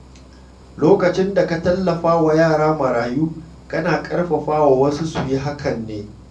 Lokacin da ka tallafa wa yara marayu, kana ƙarfafa wasu su yi hakan ne.